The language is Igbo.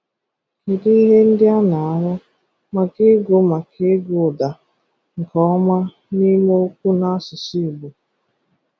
Kedu ihe ndị a na-ahụ maka ịgụ maka ịgụ ụ̀dà nke ọma n’ime okwu n’asụsụ Igbo?